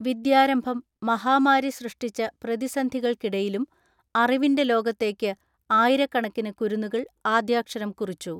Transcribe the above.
വിദ്യാരംഭം മഹാമാരി സൃഷ്ടിച്ച പ്രതിസന്ധികൾക്കിടയിലും അറിവിന്റെ ലോകത്തേക്ക് ആയിരക്കണക്കിന് കുരുന്നുകൾ ആദ്യക്ഷരം കുറിച്ചു.